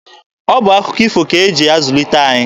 Ọ bụ akụkọ ifo ka e ji zulite anyị.